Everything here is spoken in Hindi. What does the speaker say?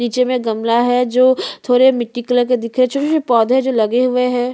नीचे में गमला है जो थोड़े मिट्टी कलर के दिख रहै है छोटे - छोटे पौधे है जो लगे हुए है।